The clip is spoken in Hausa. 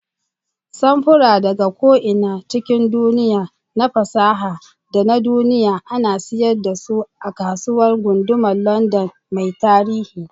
Samfura daga ko'ina cikin duniya, na fasaha da na duniya, ana siyar da su a Kasuwar Gundumar London mai tarihi.